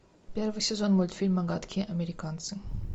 первый сезон мультфильма гадкие американцы